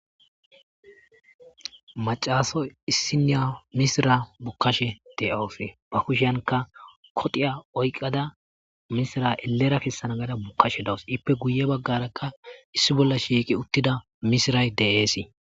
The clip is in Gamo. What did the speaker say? Maccassiya issoy misira bukka de7awus ba kusshiyanka koxiya oyikkada misira ellera kessa gashe de7awus iippe guye baggara misiray shiiqi uttudaysi de7ees.